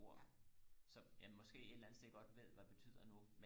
ord som jeg måske et eller andet sted godt ved hvad betyder nu